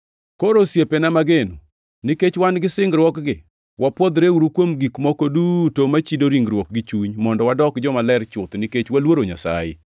Koro osiepena mageno, nikech wan gi singruokgi, wapwodhreuru kuom gik moko duto machido ringruok gi chuny mondo wadok jomaler chuth nikech waluoro Nyasaye.